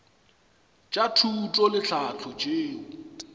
tša thuto le tlhahlo tšeo